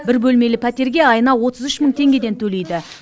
бір бөлмелі пәтерге айына отыз үш мың теңгеден төлейді